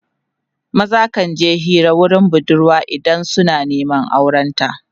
maza kan je Hira wurin budurwa idan suna Neman auren ta